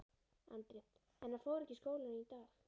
Andri: En hann fór ekki í skólann í dag?